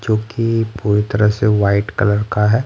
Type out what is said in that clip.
जोकि पूरी तरह से वाइट कलर का है।